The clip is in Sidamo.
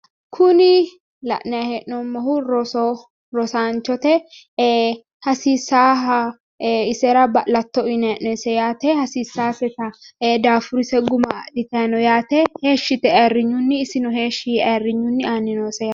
Kuni la'nayi hee'noommohu rosaanchote hasisaaha isera ba'latto uyiinayi hee'noyiise yaate hasiissaaseta daafurise guma adhitayi no yaate heeshshi yite ayiirinyunni isino heeshshi yee ayiirinyunni aanni noose yaate